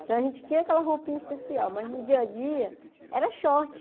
Então a gente tinha aquela roupinha especial, mas no dia a dia era short.